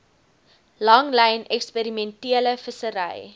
langlyn eksperimentele vissery